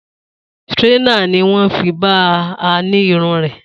Straightener ni wọ́n fi bá a na irun rẹ̀